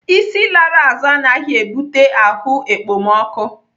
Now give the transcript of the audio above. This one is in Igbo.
Isi lara azụ anaghị ebute ahụ ekpomọkụ.